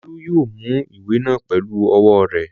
Olú yóò mú ìwé náà pẹlú ọwọ́ rẹ̀.